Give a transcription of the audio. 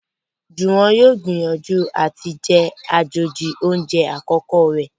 Juwon yóò n gbìyànjú àti jé àjèjì oúnjẹ àkókò rẹ